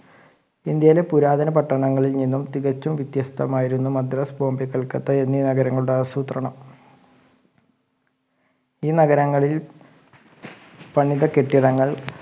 ഇന്ത്യയിലെ പുരാതന പട്ടണങ്ങളിൽ നിന്നും തികച്ചും വിത്യസ്തമായിരുന്നു മദ്രാസ് ബോംബൈ കൽക്കട്ട എന്നീ നഗരങ്ങളുടെ ആസൂത്രണം ഈ നഗരങ്ങളിൽ പണിത കെട്ടിടങ്ങൾ